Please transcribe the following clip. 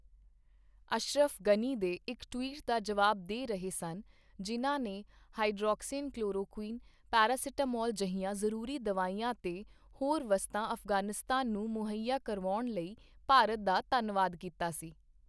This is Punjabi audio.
ਅਸ਼ਰਫ਼ ਗ਼ਨੀ ਦੇ ਇੱਕ ਟਵੀਟ ਦਾ ਜਵਾਬ ਦੇ ਰਹੇ ਸਨ, ਜਿਨ੍ਹਾਂ ਨੇ ਹਾਈਡ੍ਰੋਕਸੀਕਲੋਰੋਕੁਈਨ, ਪੈਰਾਸੀਟਾਮੋਲ ਜਿਹੀਆਂ ਜ਼ਰੂਰੀ ਦਵਾਈਆਂ ਤੇ ਹੋਰ ਵਸਤਾਂ ਅਫ਼ਗ਼ਾਨਿਸਤਾਨ ਨੂੰ ਮੁਹੱਈਆ ਕਰਵਾਉਣ ਲਈ ਭਾਰਤ ਦਾ ਧੰਨਵਾਦ ਕੀਤਾ ਸੀ।